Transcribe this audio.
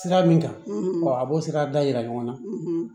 Sira min kan a b'o sira da yira ɲɔgɔn na